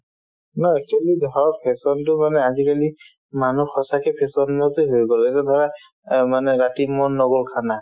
actually fashion তো মানে আজিকালি মানুহ সঁচাকে fashion তে হৈ গ'ল এতিয়া ধৰা অ মানে ৰাতি মন নগ'ল khana